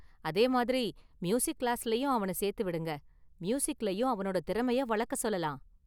அதே மாதிரி, மியூசிக் கிளாஸ்லயும் அவன சேர்த்துவிடுங்க, மியூசிக்லயும் அவனோட திறமையை வளக்க சொல்லலாம்.